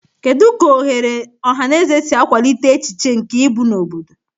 Kedu ka oghere ọhaneze si akwalite echiche nke ịbụ na obodo?